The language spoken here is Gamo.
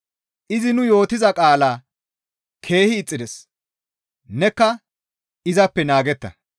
Izi nu yootiza qaalaa keehi ixxides; nekka izappe naagetta.